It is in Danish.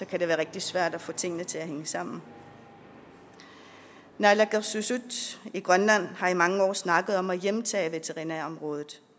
kan det være rigtig svært at få tingene til at hænge sammen naalakkersuisut i grønland har i mange år snakket om at hjemtage veterinærområdet